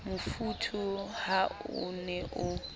mofuthu ha o ne o